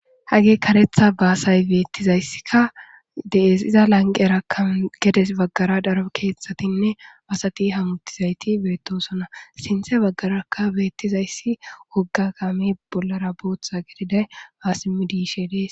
Hage kareththa baasay beeththizayssikka de7ees; iza lanqqerakka gede baggara daro keeththathinne basathi hamuththizaythi beeththoosona; sinththe baggarakka beeththizayssi wogga kaamee bollara booththa gididay haa siimmidi yishee de7ees.